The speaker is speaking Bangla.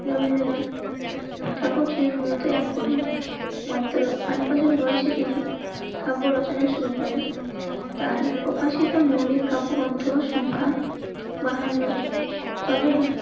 রবীন্দ্রনাথ ঠাকুর ছিলেন মূলত এক কবি. মাত্র আট বছর বয়সে তিনি কাব্য রচনা শুরু করেন. তার প্রকাশিত মৌলিক কাব্যগ্রন্থ সংখ্যা বাহান্ন. তবে